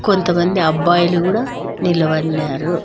కొంతమంది అబ్బాయిలు కూడా నిలబడినారు.